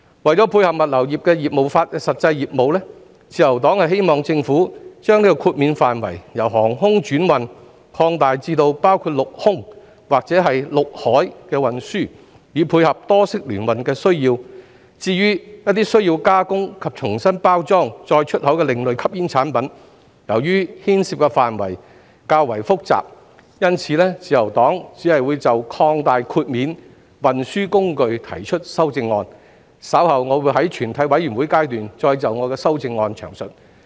為配合物流業的實際業務，自由黨希望政府把豁免範圍由航空轉運擴大至包括陸空或陸海運輸，以配合多式聯運的需要；至於一些需要加工及重新包裝再出口的另類吸煙產品，由於牽涉範圍較為複雜，因此，自由黨只會就擴大豁免運輸工具提出修正案，稍後我會在全體委員會審議階段再就我的修正案詳述。